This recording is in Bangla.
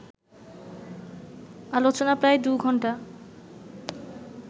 আলোচনা প্রায় দু ঘন্টা